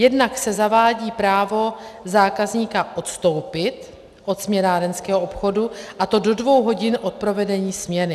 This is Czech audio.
Jednak se zavádí právo zákazníka odstoupit od směnárenského obchodu, a to do dvou hodin od provedení směny.